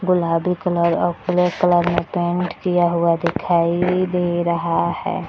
गुलाबी कलर और पीले कलर में पेंट किया हुआ दिखाई दे रहा है।